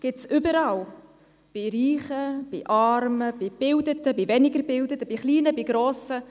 Es gibt sie überall – bei Reichen, bei Armen, bei Gebildeten, bei weniger Gebildeten, bei Kleinen, bei Grossen.